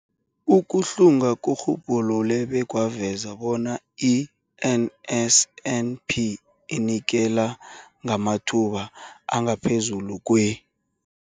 Ukuhlunga kurhubhulule bekwaveza bona i-NSNP inikela ngamathuba angaphezulu kwe-